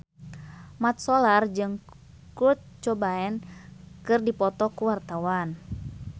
Mat Solar jeung Kurt Cobain keur dipoto ku wartawan